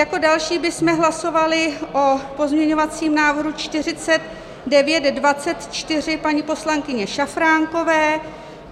Jako další bychom hlasovali o pozměňovacím návrhu 4924 paní poslankyně Šafránkové.